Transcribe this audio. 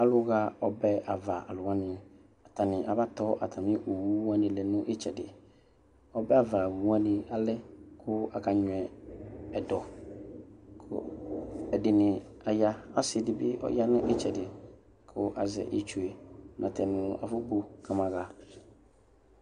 Alʋxa ɔbɛ alʋ wani abatɔ owʋ wani lɛnʋ itsɛdi obɛava owʋ ni alɛ kʋ aka nyuɛ ɛtʋ kʋ ɛdini aya ɔsi dibi yanʋ itsɛdi kʋ azɛ itsʋe natɛnʋ nʋ afɔbo kamaxa